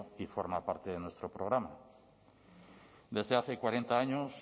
y forma parte de nuestro programa desde hace cuarenta años